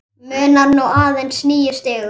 Munar nú aðeins níu stigum.